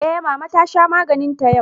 Eh mama ta sha maganinta yau.